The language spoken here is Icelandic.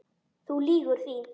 Þú lýgur því.